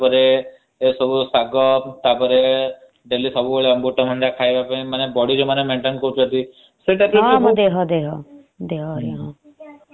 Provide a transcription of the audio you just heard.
ହଁ ମ ଦେହ ଦେହ